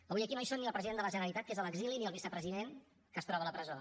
avui aquí no hi són ni el president de la generalitat que és a l’exili ni el vicepresident que es troba a la presó